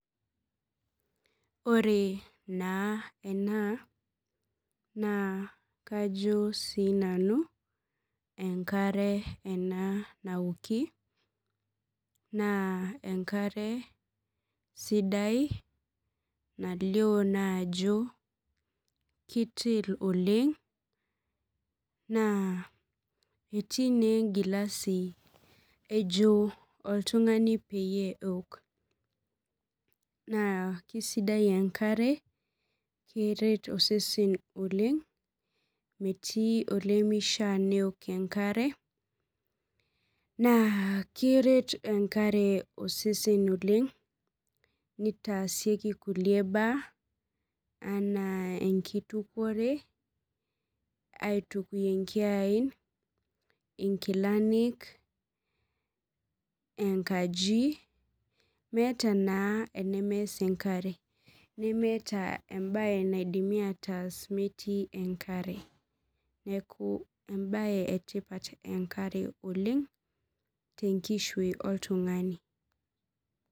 Ore naa ena naa kajo sii nanu enkare ena naoki naa enkare sidai nalio naa ajo keitil oleng etii naa enkilasi ejo oltung'ani peeok naa keisaidia enkare metii olemeishia neok enkare naa keret enkare osesen oleng neitasieki kulie baa ena enkitukore inkilani enkaji meeta naa enemeas enkare nmeeta enaidimi ataas metii enkare neeku embaye etipat enkare oleng tenkishui oltung'ani.